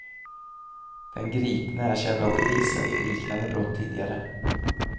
Den gripne är känd av polisen för liknande brott tidigare.